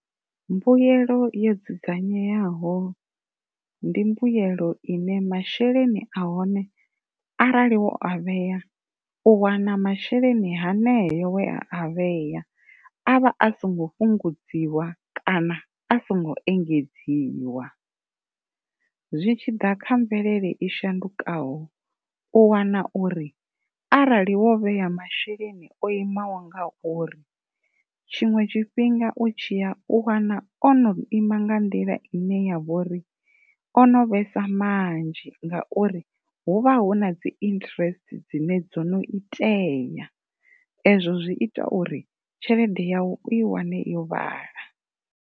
Mbuyelo yo dzudzanyeaho ndi mbuelo ine masheleni a hone arali wo a vhea u wana masheleni haneo we a a vhea avha a songo fhungudziwa kana a songo engedziwa, zwi tshi ḓa kha mvelele yo shandukaho u wana uri arali wo vhea masheleni o imaho ngauri tshiṅwe tshifhinga u tshi ya u wana o no ima nga nḓila ine ya vho ri o no vhesa manzhi ngauri hu vha hu na dzi interest dzine dzo no itea ezwo zwi ita uri tshelede yau u i wane yo vhala.